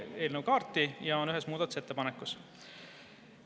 on ühes muudatusettepanekus.